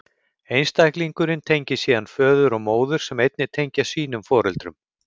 Einstaklingurinn tengist síðan föður og móður, sem einnig tengjast sínum foreldrum.